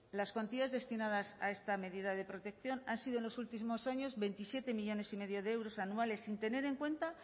las cuantías destinadas a esta medida de protección han sido en los últimos años veintisiete millónes y medio de euros anuales sin tener en cuenta